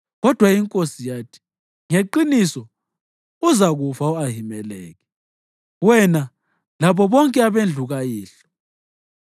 Kodwa inkosi yathi, “Ngeqiniso uzakufa, Ahimeleki, wena labo bonke abendlu kayihlo.”